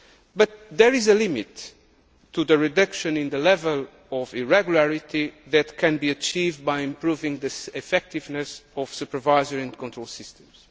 now. But there is a limit to the reduction of the level of irregularity that can be achieved by improving the effectiveness of supervisory and control